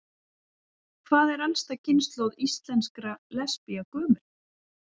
Hvað er elsta kynslóð íslenskra lesbía gömul?